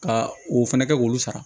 Ka o fɛnɛ kɛ k'olu sara